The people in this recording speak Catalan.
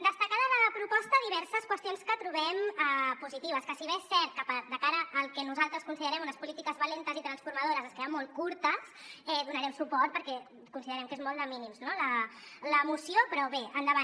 destacar de la proposta diverses qüestions que trobem positives que si bé és cert que de cara al que nosaltres considerem unes polítiques valentes i transformadores es queden molt curtes hi donarem suport perquè considerem que és molt de mínims no la moció però bé endavant